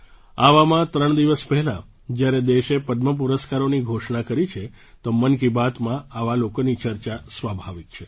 આવામાં ત્રણ દિવસ પહેલાં જ્યારે દેશે પદ્મ પુરસ્કારોની ઘોષણા કરી છે તો મન કી બાતમાં આવા લોકોની ચર્ચા સ્વાભાવિક છે